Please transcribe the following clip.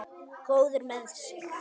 Góður með sig.